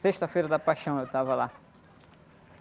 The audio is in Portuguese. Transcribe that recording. Sexta-feira da Paixão eu estava lá.gyuhjiokpl´